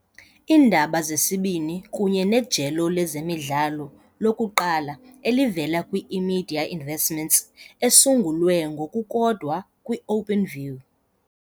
Iindaba zesibini kunye nejelo lezemidlalo lokuqala elivela kwi-eMedia Investments esungulwe ngokukodwa kwi -Openview.